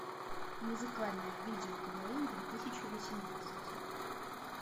музыкальное видео квн две тысячи восемнадцать